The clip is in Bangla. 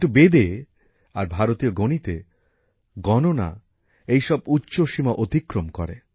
কিন্তু বেদে আর ভারতীয় গণিতে গণনা এইসব উচ্চসীমা অতিক্রম করে